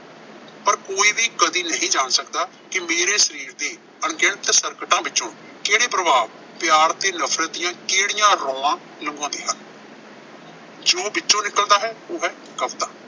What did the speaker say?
ਪਰ ਕੋਈ ਵੀ ਕਦੇ ਨਹੀਂ ਜਾਣ ਸਕਦਾ ਕਿ ਮੇਰੇ ਸਰੀਰ ਦੇ ਅਣਗਿਣਤ ਸਰਕਟਾਂ ਵਿੱਚੋਂ ਕਿਹੜੇ ਪ੍ਰਭਾਵ ਪਿਆਰ ਤੇ ਨਫ਼ਰਤ ਦੀਆਂ ਕਿਹੜੀਆਂ ਨਿਭਾਉਂਦੇ ਹਨ। ਜੋ ਵਿੱਚੋਂ ਨਿਕਲਦਾ ਹੈ, ਉਹ ਹੈ ਕਵਿਤਾ।